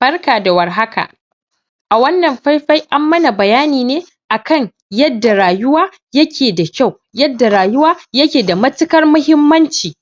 Barka da warhaka, a wannan faifai an mana bayani ne a kan yadda rayuwa yake da kyau yadda rayuwa yake da matuƙar muhimmanci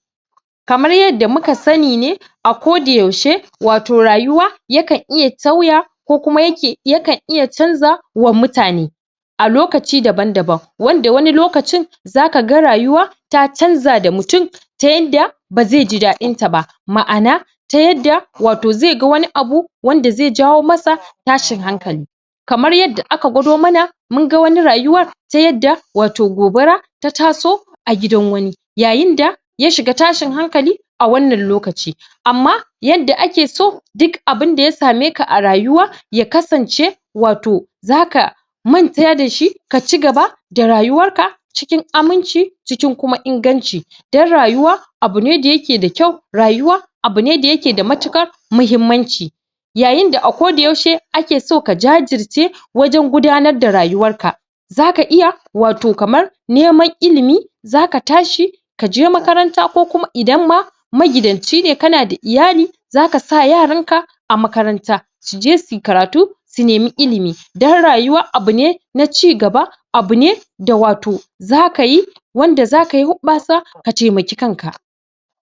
kamar yadda muka sani ne a koda yaushe wato rayuwa yakan iya sauya ko kuma yake yakan iya canza wa mutane a lokaci daban-daban wanda wani lokacin zakaga rayuwa ta canza da mutum, ta yanda bazaiji daɗinta ba, ma'ana ta yadda wato zai ga wani abu wanda zai jawo masa tashin hankali. Kamar yadda aka gwado mana munga wata rayuwar ta yadda wato gobara ta taso a gidan wani yayinda ya shiga tashin hankali a wannan lokaci. Amma yadda akeso duk abinda ya sameka a rayuwa ya kasance wato, zaka manta dashi, kaci gaba da rayuwarka cikin aminci cikin kuma inganci don rayawa abu ne da yake da kyau rayuwa, abu ne da yake da matuƙar muhimmanci. Yayinda a koda yaushe akeson ka jajirce wajen gudanar da rayuwarka. Zaka iya wato kamar, neman ilimi. zaka tashi kaje makaranta ko kuma idan ma magidanci ne kana da iyali zaka sa yaranka a makaranta suje suyi karatu, su nemi ilimi. Don rayuwa abu ne na cigba abu ne da wato zakayi wanda zakayi huɓɓasa ka taimaki kanka.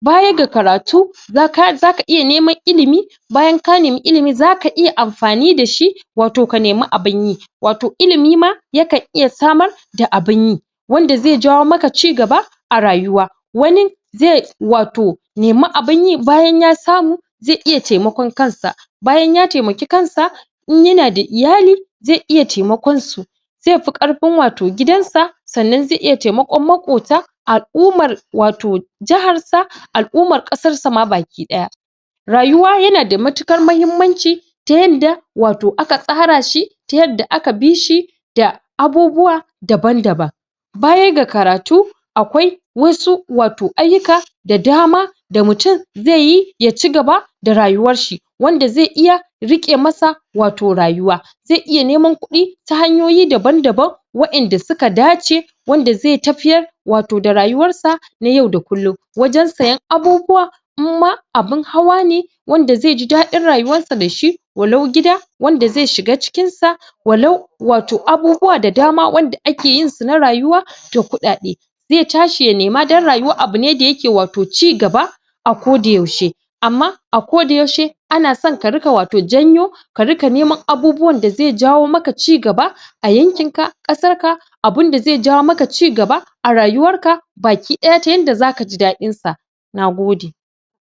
Baya ga karatu zaka.. zaka iya neman ilimi, bayan ka nemi ilimi zaka iya amfani dashi wato ka nemi abinyi watu ilimi ma yakan iya samar da abinyi wanda zai jawo maka ci gaba a rayuwa wani, ze wato nemi abinyi, bayan ya samu ze iya taimakon kansa. Bayan ya taimaki kansa in yana da iyali zai iya taimakonsu. Zaifi ƙarfin wato gidansa, sannan zai iya taimakon maƙota al'ummar wato jahar al'ummar ƙasar sa ma baki ɗaya. Rayuwa yana da matuƙar muhimmanci ta yadda wato aka tsarashi ta yadda aka bishi da abubuwa daban-daban. Baya ga karatu akwai wasu wato ayyuka da dama da mutum zaiyi yaci gaba da rayuwarshi. wanda zai iya riƙe masa wato, rayuwa zai iya neman kuɗi ta hanyoyi daban-daban. wa inda suka dace wanda zai tafiyar wato da rayuwarsa na yau na kullum. wajen sayen abubuwa inma abin hawa ne wanda zaiji daɗin rayuwarsa dashi walau gida wanda zai shiga cikinsa, walau wato abubuwa da dama wanda akeyinsu na rayuwa da kuɗaɗe zai tashi ya nema don rayuwa abu ne wato da yake ci gaba a koda yaushe. Amma a koda yaushe anason ka riƙa wato janyo ka riƙa neman abubuwan da zai jawo maka ci gaba a yankinka, ƙasarka, abunda zai jawo maka cigaba a rayuwarka baki ɗaya ta yanda zakaji daɗinsa nagode.